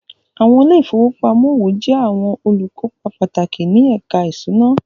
Àwọn ilé ìfowópamọ́ òwò jẹ́ àwọn olùkópa pàtàkì ní ẹ̀ka ìṣúná